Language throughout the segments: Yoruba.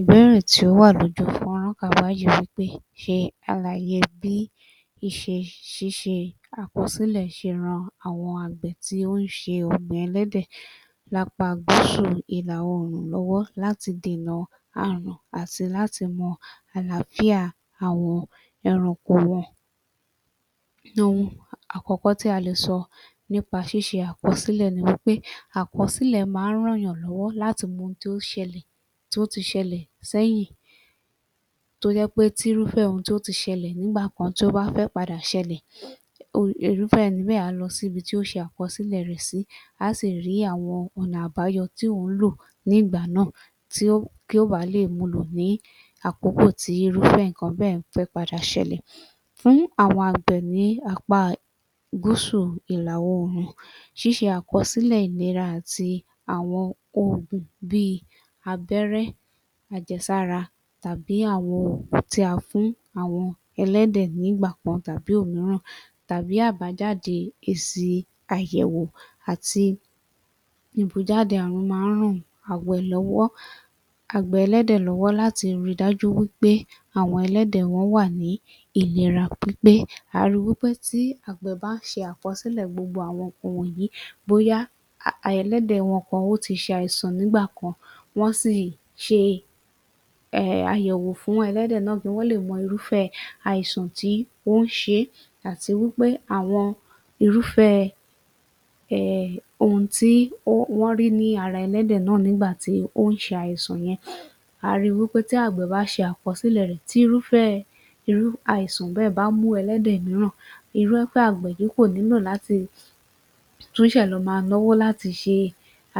Ìbéèrè tí ó wà l’ọjú fọ́nrán, wí pé ṣe àlàyé bí ìṣe ṣíṣe àkọsílẹ̀ ṣe ran àwọn àgbẹ̀ tí ó ń ṣe ọ̀gbìn ẹlẹ́dẹ̀ lápá gúsù ìlà oòrùn lọ́wọ́ láti dènà àrùn àti láti mọ àlááfíà àwọn ẹranko wọn. Ohun àkọ́kọ́ tí a lè sọ lórí ṣíṣe àkọsílẹ̀ ni wí pé àkọsílẹ̀ má ń rànyàn lọ́wọ́ láti mọ ohun tí ó ṣẹlẹ̀, tí ó ti ṣẹlẹ̀ sẹ́yìn tó jẹ́ pé tí irúfẹ́ ohun tí ó ti ṣẹlẹ̀ nígbà kan tí ó bá fẹ́ padà ṣẹlẹ̀ irúfé ẹni bẹ́ẹ̀ á lọ sí ibi tí ó ṣe àkọsílẹ̀ rè sí láti rí àwọn ọ̀nà àbáyọ tí òún lò nígbà náà tí ó, kí ó baà lè mu lò ní àkókò tí irúfẹ́ ǹkan bẹ́ẹ̀ fẹ́ padà ṣẹlẹ̀. Fún àwọn àgbẹ̀ ní apá gúsù ìlà oòrùn, ṣíṣẹ àkọsílẹ̀ ìlera àti àwọn ìlànà òògùn bí i abẹ́rẹ́ àjẹsára àbí àwọn òògùn tí a fún àwọn ẹlẹ́dẹ̀ nígbà kan àbí òmíràn tàbí àbájáde èsì ìyẹ̀wò àti má ń ran àgbẹ̀ lọ́wọ́. Àgbẹ̀ ẹlẹ́dẹ̀ lọ́wọ́ láti rí i dájú pé àwọn ẹlẹ́dẹ̀ wọ́n wà ní ìlera pípé. A rí i pé tí àgbẹ̀ bá ṣe àkọsílẹ̀ gbogbo àwọn ǹkan wọ̀nyìí bóyá um ẹlẹ́dẹ̀ wọn kan ti ṣàìsàn nígbà kan, wọ́n sì ṣe um àyẹ̀wò fún ẹlẹ́dẹ̀ náà, wọ́n dẹ̀ mo irúfẹ́ àìsàn tí ń ṣe é àti wí pé àwọn irúfẹ́ um ohun tí wọ́n rí ní ara ẹlẹ́dẹ̀ náà nígbà tí ó ń ṣe àìsàn yẹn. A rí i wí pé tí àgbẹ̀ bá ṣe àkọsílẹ̀ rẹ̀ tí irúfẹ́ irú àìsàn bẹ́ẹ̀ bá mú ẹlẹ́dẹ̀ míràn, irúfẹ́ àgbẹ̀ yìí kò nílò láti tún ṣè lọ máa náwó láti ṣe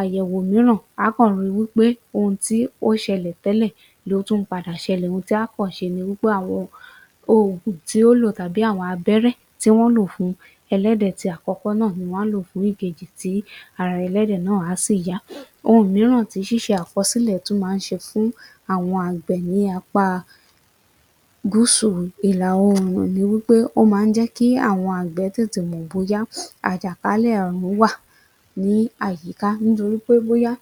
àyẹ̀wò míràn. Áá kàn rí i wí pé ohun tí ó ṣẹlẹ̀ tẹ́lẹ̀ ló tún ń padà ṣẹlẹ̀. Ohun tí á kàn ṣe ni pé àwọn òògùn tí ó lò àbí àwọn abẹ́rẹ́ tí wọ́n lò fún ẹlẹ́dẹ̀ ti àkọ́kọ́ náà ni wọ́n á lò fún ti ìkejì tí ara ẹlẹ́dẹ̀ náà á sì yá. Ohun míràn tí ṣíṣe àkọsílẹ̀ tún má ń ṣe fún àwọn àgbẹ̀ ní apá gúsù ìlà oòrùn ni wí pé ó má ń jẹ́ kí àwọn àgbẹ̀ tètè mò bóyá àjàkálẹ̀ àrùn wà ní àyíká nítorí pé bóyá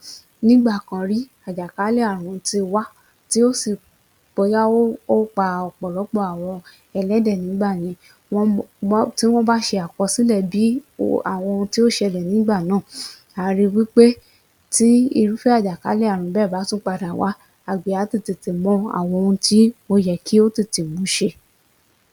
nígbà kan rí, àjàkálẹ̀ àrùn ti wá tí ó sì, bóyá ó pa ọ̀pọ̀lọpọ̀ àwọn ẹlẹ́dẹ̀ nígbà yẹn tí wọ́n bá ṣe àkọsílẹ̀ bí wọ́n ohun tí ó ṣẹlẹ̀ nígbà náà, àá rí i wí pé tí irúfẹ́ àjàkálẹ̀ àrùn náà bá padà wá, àgbẹ̀ náà á le tètè mọ ohun tí ó yẹ kí ó tètè mú ṣe.